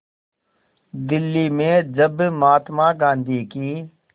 दिल्ली में जब महात्मा गांधी की